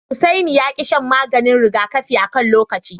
Hussaini ya ki shan maganin rigakafi akan lokaci.